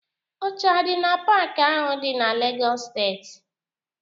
Oche adị na paaki ahụ dị na Legọs steeti?